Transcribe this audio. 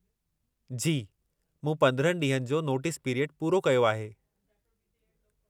जी, मूं 15 ॾींहनि जो नोटिस पिरियड पूरो कयो आहे।